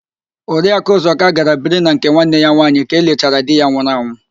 Oriakụ Ụzọka gara biri na nke nwanne ya nwaanyị ka elichara di ya nwụrụ anwụ